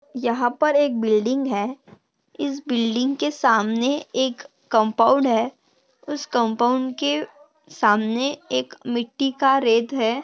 यहाँ पर एक बिल्डिंग है इस बिल्डिंग के सामने एक कंपाऊंड है उस कंपाऊंड के सामने एक मिट्टी का रेत है।